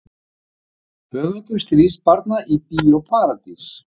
Höfundur Stríðsbarna í Bíó Paradís